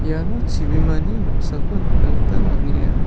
iano chibimani noksako nikna gita man·enga.